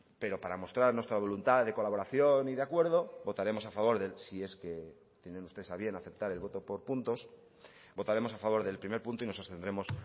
pero para mostrar nuestra voluntad de colaboración y de acuerdo votaremos a favor de él si es que tienen ustedes a bien aceptar el voto por puntos votaremos a favor del primer punto y nos abstendremos